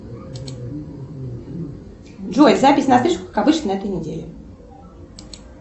джой запись на стрижку как обычно на этой неделе